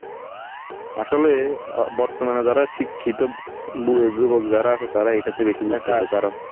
আসলে আহ বর্তমানে যারা শিক্ষিত বুড়ো যুবক যারা আছে তারা এইটাতে বেশি কারণ